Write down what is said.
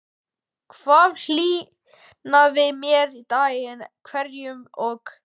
Það hlýnaði með degi hverjum og